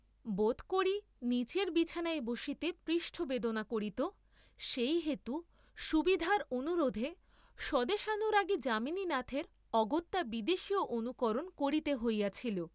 বোধ করি নীচের বিছানায় বসিতে পৃষ্ঠ বেদনা করিত সেই হেতু সুবিধার অনুরোধে স্বদেশানুরাগী যামিনীনাথের অগত্যা বিদেশীয় অনুকরণ করিতে হইয়াছিল।